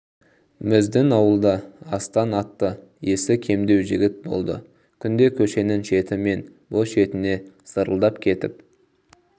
біздің ауылда астан атты есі кемдеу жігіт болды күнде көшенің шеті мен бұ шетіне зырылдап кетіп